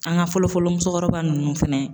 An ka fɔlɔ fɔlɔ musokɔrɔba ninnu fɛnɛ